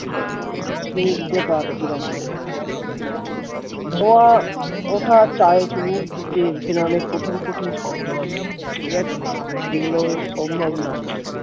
স্নিগ্ধ ডাক টির অপেক্ষায় ধোঁয়া ওঠা চায় চুমুক দিতে এখানে অনেক কঠিন কঠিন শব্দ আছে ঠিক আছে যেগুলো সম্ভব না